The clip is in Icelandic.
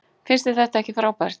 Finnst þér þetta ekki frábært?